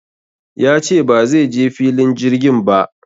Ya ce ba zai je filin jirgin ba